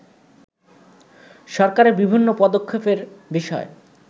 সরকারের বিভিন্ন পদক্ষেপের বিষয়